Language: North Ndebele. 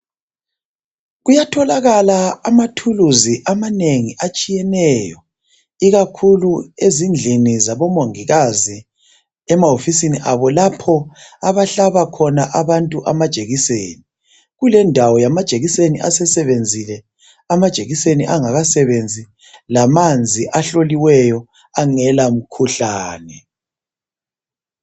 Kuyatholakala amathuluzi amanengi atshiyeneyo .Ikakhulu ezindlini zabo mongikazi emahofisini abo lapho abahlaba khona abantu amajekiseni .Kulendawo yamajekiseni asesebenzile amajekiseni angakasebenzi . Lamanzi ahloliweyo angela mkhuhlane .